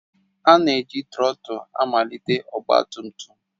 A na-eji trotul malite ọgba tum tum